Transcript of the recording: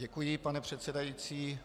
Děkuji, pane předsedající.